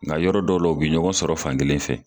Nka yɔrɔ dɔw la, u bi ɲɔgɔn sɔrɔ fankelen fɛ.